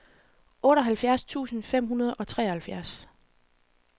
otteoghalvfjerds tusind fem hundrede og treoghalvfjerds